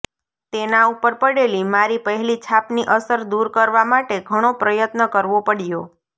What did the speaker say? તેના ઉપર પડેલી મારી પહેલી છાપની અસર દૂર કરવા માટે ઘણો પ્રયત્ન કરવો પડ્યો